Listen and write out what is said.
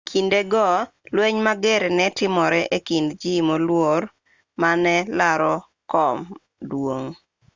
e kinde go lweny mager ne timore e kind ji moluor mane laro kom duong'